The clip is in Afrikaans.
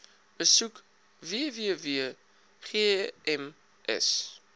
besoek www gems